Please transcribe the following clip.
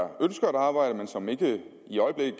ønsker at arbejde men som ikke i øjeblikket